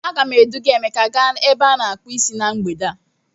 A ga m eduga emeka gaa ebe a na-akpu Ịsị na mgbede a.